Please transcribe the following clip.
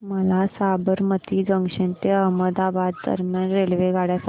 मला साबरमती जंक्शन ते अहमदाबाद दरम्यान रेल्वेगाड्या सांगा